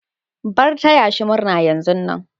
Bar taya shi murna yanzun nan.